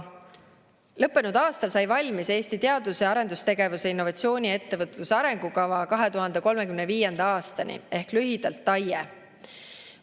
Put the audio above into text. Lõppenud aastal sai valmis Eesti teadus‑ ja arendustegevuse, innovatsiooni ja ettevõtluse arengukava 2035. aastani ehk lühidalt TAIE.